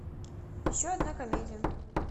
еще одна комедия